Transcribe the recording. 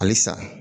Halisa